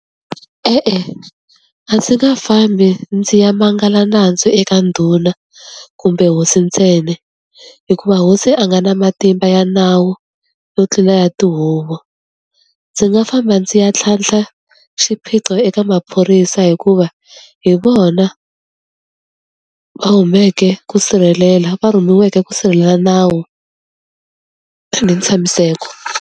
E-e, a ndzi nga fambi ndzi ya mangala nandzu eka ndhuna kumbe hosi ntsena, hikuva hosi a nga na matimba ya nawu yo tlula ya tihuvo. Ndzi nga famba ndzi ya tlhantlha xiphiqo eka maphorisa hikuva hi vona va huimeke ku sirhelela va rhumiweke ku sirhelela nawu ni ntshamiseko.